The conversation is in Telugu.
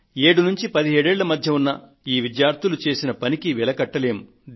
7 ఏళ్ల నుండి 17 ఏళ్ల మధ్య వయస్సు ఉన్న ఈ విద్యార్థులు చేసిన పనికి వెలకట్టలేము